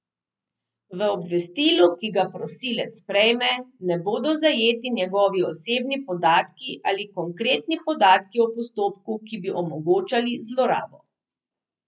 V obvestilu, ki ga prosilec prejme, ne bodo zajeti njegovi osebni podatki ali konkretni podatki o postopku, ki bi omogočali zlorabo.